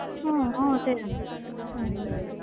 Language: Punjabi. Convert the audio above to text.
ਹਾਂ ਉਹ ਤੇ ਹੈ ਹਮ